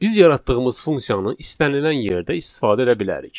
Biz yaratdığımız funksiyanı istənilən yerdə istifadə edə bilərik.